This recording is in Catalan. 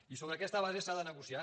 i sobre aquesta base s’ha de negociar